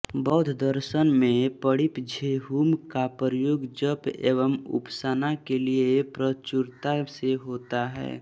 बौद्धदर्शन में मणिपद्मेहुम का प्रयोग जप एवं उपासना के लिए प्रचुरता से होता है